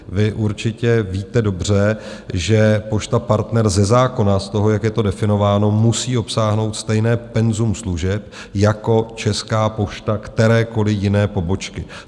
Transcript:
Vy určitě víte dobře, že Pošta Partner ze zákona, z toho, jak je to definováno, musí obsáhnout stejné penzum služeb jako Česká pošta kterékoliv jiné pobočky.